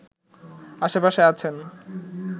আশেপাশে আছেন